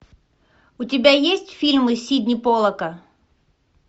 у тебя есть фильмы сидни поллака